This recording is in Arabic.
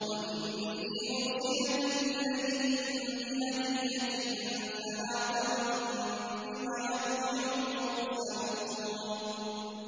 وَإِنِّي مُرْسِلَةٌ إِلَيْهِم بِهَدِيَّةٍ فَنَاظِرَةٌ بِمَ يَرْجِعُ الْمُرْسَلُونَ